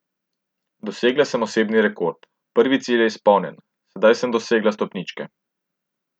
Dosegla sem osebni rekord, prvi cilj pa je izpolnjen, saj sem dosegla stopničke.